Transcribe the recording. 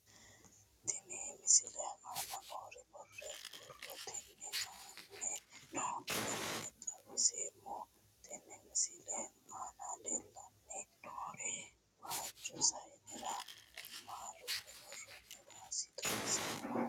Tenne misile aana noore borrotenni aane noo garinni xawiseemo. Tenne misile aana leelanni nooerri waajo sayinerra maalunni woroonni waasa xawissanno.